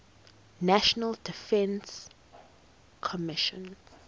national defense commission